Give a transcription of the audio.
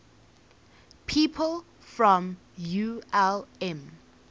people from ulm